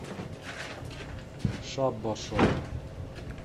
шабба шоп